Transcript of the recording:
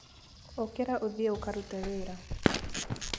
Ũkĩra ũthiĩ ũkarute wĩra.